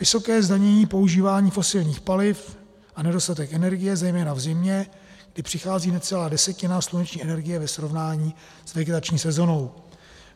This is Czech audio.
Vysoké zdanění používání fosilních paliv a nedostatek energie, zejména v zimě, kdy přichází necelá desetina sluneční energie ve srovnání s vegetační sezónou.